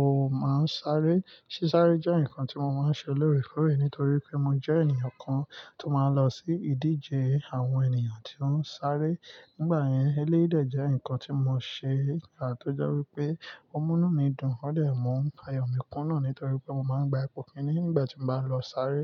o máa ń sáré? Sí sáré jẹ́ nǹkan tí mo máa ń ṣe lóorekoọ́re nítorí pé mo jẹ́ ènìyàn kan tó máa ń lọ sí ìdíje àwọn ènìyàn tí ó ń sáré. Nígbà yẹn, eléyi dè jẹ́ nǹkan tí mo ṣe nígbà tó jẹ́ wípé o munu mi dùn. Ó dẹ̀ mú ayọ̀ mi kúnà nítorí pé mo máa ń gba ipò kíní nígbà tí mo bá lọ sáré.